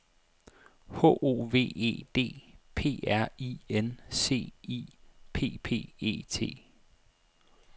H O V E D P R I N C I P P E T